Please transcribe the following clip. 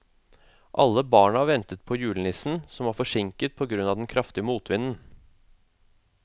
Alle barna ventet på julenissen, som var forsinket på grunn av den kraftige motvinden.